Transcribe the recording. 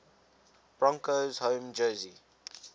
broncos home jersey